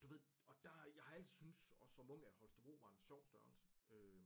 Du ved og der jeg har altid synes også som ung at Holstebro var en sjov størrelse øh